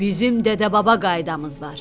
Bizim dədə-baba qaydamız var.